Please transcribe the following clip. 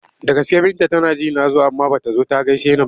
Da gaske Binta tana ji na zo amma ba ta zo ta gaishe ni ba?